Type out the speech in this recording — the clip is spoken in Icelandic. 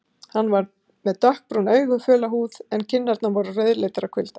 Hann var með dökkbrún augu, föla húð en kinnarnar voru rauðleitar af kulda.